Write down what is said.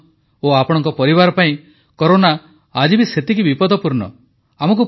ଆପଣ ଓ ଆପଣଙ୍କ ପରିବାର ପାଇଁ କରୋନା ଆଜି ବି ସେତିକି ବିପଦପୂର୍ଣ୍ଣ